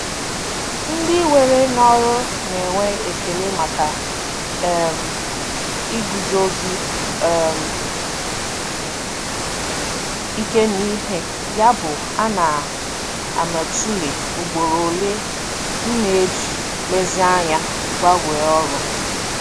Ndị were n'ọrụ na-enwe ekele maka um iguzosi um ike n'ihe, yabụ ana m atụle ugboro ole m na-eji nlezianya gbanwee ọrụ.